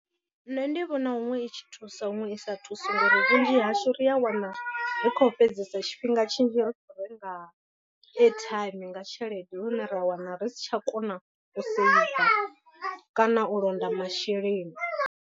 Nṋe ndi vhona huṅwe i tshi thusa huṅwe i sa thusi ngori vhunzhi hashu ri a wana ri khou fhedzesa tshifhinga tshinzhi ri kho renga airtime nga tshelede lune ra wana ri si tsha kona u seiva kana u londa masheleni.